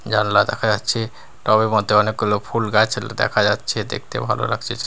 জানলা দেখা যাচ্ছে টব -এর মধ্যে অনেকগুলো ফুলগাছ দেখা যাচ্ছে দেখতে ভালো লাগছে।